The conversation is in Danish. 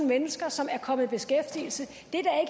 mennesker som er kommet i beskæftigelse